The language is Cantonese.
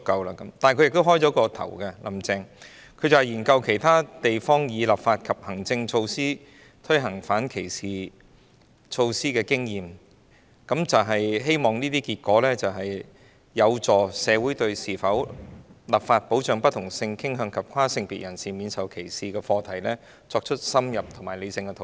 但"林鄭"也有開創先河，她說目前正研究其他地方以立法及行政措施推行反歧視措施的經驗，希望研究結果有助社會對應否立法保障不同性傾向及跨性別人士免受歧視的課題作深入及理性的討論。